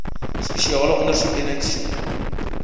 spesiale ondersoekeenheid soe